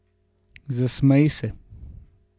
Zasmeji se.